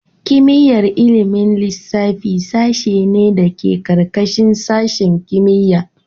Kimiyyar ilimin lissafi sashe ne da ke ƙarƙashin sashin kimiyya.